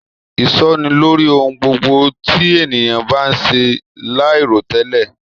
Isọ́ni lórí ohùn gbogbo t'eniyan ba se lairotẹlẹ